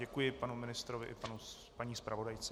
Děkuji panu ministrovi i paní zpravodajce.